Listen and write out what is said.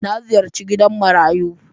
Na ziyarci gidan marayu.